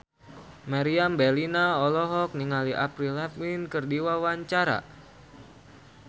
Meriam Bellina olohok ningali Avril Lavigne keur diwawancara